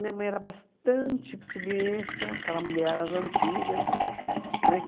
Minha mãe era bastante submissa, aquela mulher às antigas, né?